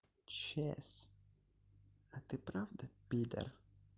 сейчас а ты правда пидор